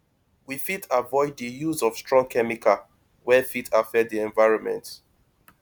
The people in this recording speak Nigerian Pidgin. we fit avoid di use of strong chemical wey fit affect di environment